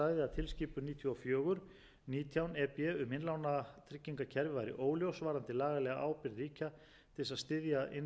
og fjögur nítján e b um innlánatryggingakerfi væri óljós varðandi lagalega ábyrgð ríkja til þess að styðja